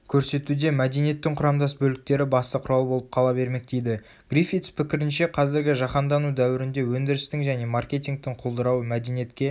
көрсетуде мәдениттің құрамдас бөліктері басты құрал болып қала бермек дейді гриффитс пікірінше қазіргі жаһандану дәуірінде өндірістің және маркетингтің құлдырауы мәдениетке